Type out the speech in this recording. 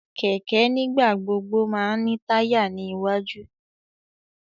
Kẹkẹ nigbagbogbo má n ni taya ni iwaju